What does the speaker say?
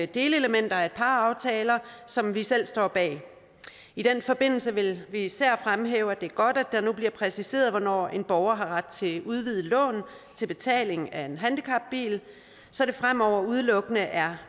delelementer af et par aftaler som vi selv står bag i den forbindelse vil vi især fremhæve at det er godt at det nu bliver præciseret hvornår en borger har ret til et udvidet lån til betaling af en handicapbil så det fremover udelukkende er